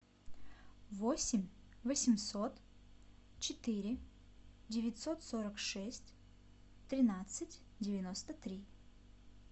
восемь восемьсот четыре девятьсот сорок шесть тринадцать девяносто три